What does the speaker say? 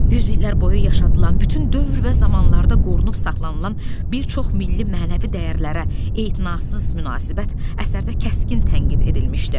Yüz illər boyu yaşadılan bütün dövr və zamanlarda qorunub saxlanılan bir çox milli mənəvi dəyərlərə etinasız münasibət əsərdə kəskin tənqid edilmişdi.